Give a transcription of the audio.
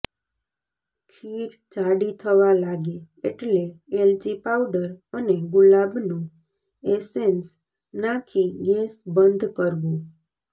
ખીર જાડી થવા લાગે એટલે એલચી પાઉડર અને ગુલાબનું એસેન્સ નાખી ગૅસ બંધ કરવો